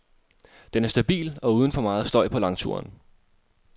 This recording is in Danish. Den er stabil og uden for meget støj på langturen.